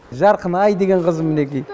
жарқынай деген қызым мінеки